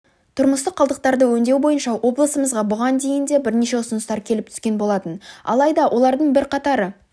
тұрмыстық қалдықтарды өңдеу бойынша облысымызға бұған дейін де бірнеше ұсыныстар келіп түскен болатын алайда олардың бірқатары